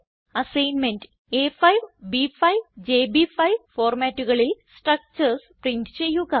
assignment A five B five JB five ഫോർമാറ്റുകളിൽ structures print ചെയ്യുക